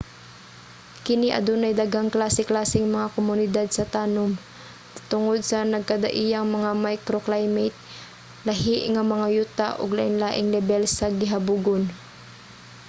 kini adunay daghang klase-klaseng mga komunidad sa tanum tungod sa nagkadaiyang mga microclimate lahi nga mga yuta ug lainlaing lebel sa gihabugon